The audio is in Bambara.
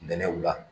Nɛnɛw la